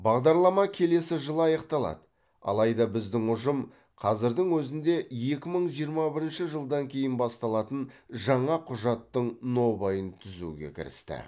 бағдарлама келесі жылы аяқталады алайда біздің ұжым қазірдің өзінде екі мың жиырма бірінші жылдан кейін басталатын жаңа құжаттың нобайын түзуге кірісті